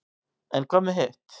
en hvað með hitt